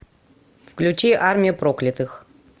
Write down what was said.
включи армия проклятых